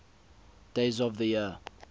days of the year